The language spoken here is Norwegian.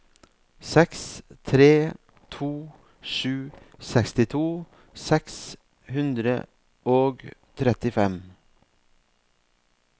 seks tre to sju sekstito seks hundre og trettifem